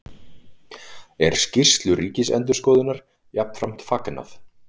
Er skýrslu Ríkisendurskoðunar jafnframt fagnað